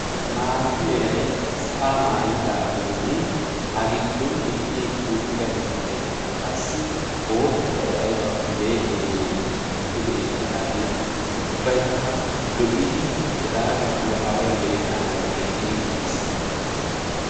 Maata meray sa'a maayyidaagenne a giddon eqqi eqqi uttida mittay qassi boottabay aybbakko le'e le'e pude eqqidaage ubbaykka lo'iddi hega gidduwa away gelennadan teqqidi uttiis.